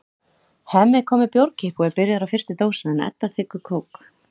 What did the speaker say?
Hemmi kom með bjórkippu og er byrjaður á fyrstu dósinni en Edda þiggur kók.